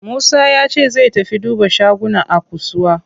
Musa yace zai tafi duba shaguna a kusuwa.